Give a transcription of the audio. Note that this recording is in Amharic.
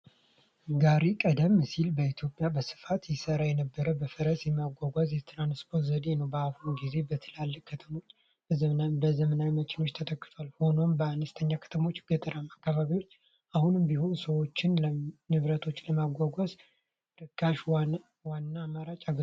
ጋሪ ቀደም ሲል በኢትዮጵያ በስፋት ይሠራ የነበረ በፈረስ የሚጎተት የትራንስፖርት ዘዴ ነው። በአሁኑ ጊዜ በትላልቅ ከተሞች በዘመናዊ መኪናዎች ተተክቷል፤ ሆኖም፣ በአነስተኛ ከተሞችና ገጠራማ አካባቢዎች አሁንም ቢሆን ሰዎችንና ንብረቶችን ለማጓጓዝ እንደ ርካሽና ዋና አማራጭ ያገለግላል።